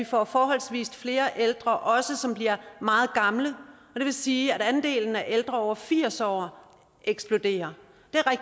får forholdsvis flere ældre som bliver meget gamle og det vil sige at andelen af ældre over firs år eksploderer